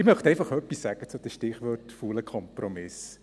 Ich möchte einfach etwas sagen zum Stichwort «fauler Kompromiss».